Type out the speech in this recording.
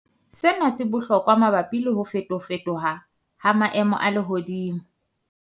Sena se bohlokwa mabapi le ho fetofetoha ha maemo a lehodimo.